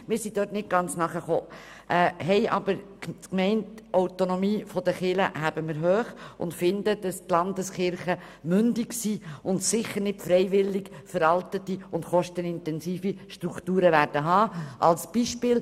Auf jeden Fall halten wir die Gemeindeautonomie der Kirchen hoch und denken, dass die Landeskirchen mündig sind und sicher keine veralteten und kostenintensiven Strukturen aufrechterhalten wollen.